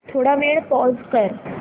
थोडा वेळ पॉझ कर